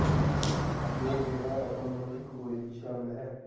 ਨੇ ਕਿਹਾ ਰਕਮ ਨੂੰ ਇੱਕ ਗੋਲੀ ਵਿੱਚ ਸ਼ਾਮਿਲ ਹੈ